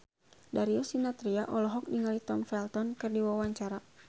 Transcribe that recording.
Darius Sinathrya olohok ningali Tom Felton keur diwawancara